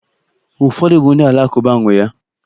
Ụfọdụ bụ ndị Alakụba nwee ya.